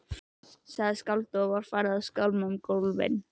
sagði skáldið og var farið að skálma um gólfin.